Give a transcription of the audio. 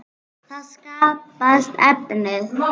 Þá skapast efnið.